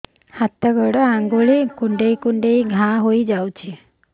ହାତ ଗୋଡ଼ ଆଂଗୁଳି କୁଂଡେଇ କୁଂଡେଇ ଘାଆ ହୋଇଯାଉଛି